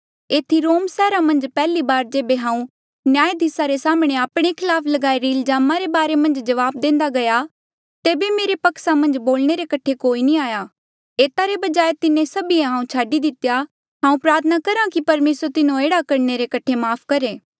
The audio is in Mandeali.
एथी रोम सैहरा मन्झ पैहली बार जेबे हांऊँ न्यायधिसा रे साम्हणें आपणे खलाफ लगाई रे इल्जाम रे बारे मन्झ जबाब देंदा गया तेबे मेरे पक्सा मन्झ बोलणे रे कठे कोई नी आया एता रे बजाय तिन्हें सभीए हांऊँ छाडी दितेया हांऊँ प्रार्थना करहा कि परमेसर तिन्हों एह्ड़ा करणे रे कठे माफ़ करहे